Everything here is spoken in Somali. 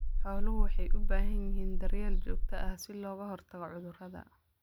Xooluhu waxay u baahan yihiin daryeel joogto ah si looga hortago cudurrada.